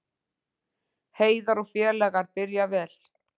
Heiðar og félagar byrja vel